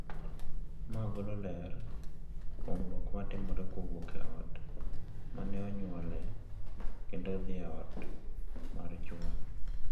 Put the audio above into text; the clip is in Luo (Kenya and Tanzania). Ma golo ler kuom lokruok matimore kowuok e ot ma ne onyuolee kendo odhi e ot mar chwore.